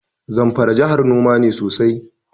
Zamfara jahar noma ne sosai.